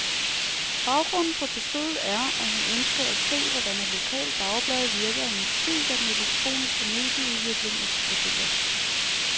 Baggrunden for besøget er, at hun ønsker at se, hvordan et lokalt dagblad virker i en tid, da den elektroniske medieudvikling eksploderer.